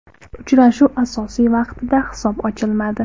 Uchrashuv asosiy vaqtida hisob ochilmadi.